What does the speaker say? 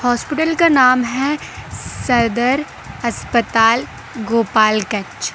Hospital का नाम है सरदार अस्पताल गोपालगंज।